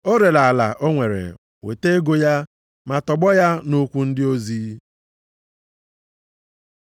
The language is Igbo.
O rere ala o nwere, weta ego ya, ma tọgbọ ya nʼụkwụ ndị ozi.